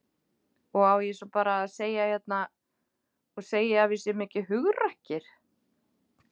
Og á ég svo bara að segja hérna og segja að við séum ekki hugrakkir?